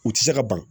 U tɛ se ka ban